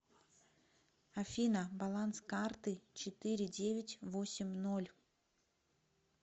афина баланс карты четыре девять восемь ноль